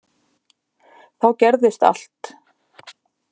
Þá gerðist allt.